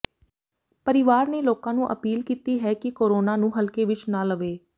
ਪਰਿਵਾਰ ਨੇ ਲੋਕਾਂ ਨੂੰ ਅਪੀਲ ਕੀਤੀ ਹੈ ਕਿ ਕੋਰੋਨਾ ਨੂੰ ਹਲਕੇ ਵਿੱਚ ਨਾ ਲਵੇ